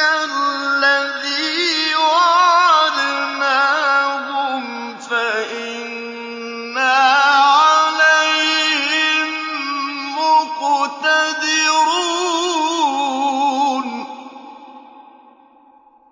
الَّذِي وَعَدْنَاهُمْ فَإِنَّا عَلَيْهِم مُّقْتَدِرُونَ